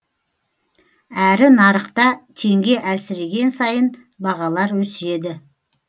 әрі нарықта теңге әлсіреген сайын бағалар өседі